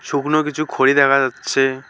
শুকনো কিছু খড়ি দেখা যাচ্ছে।